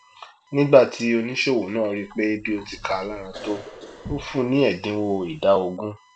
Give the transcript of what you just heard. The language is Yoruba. nígbà tí oníṣòwò náà ríi pé bí ó ti kaa lára tó ó fúnun ní ẹdinwo ìdá ogún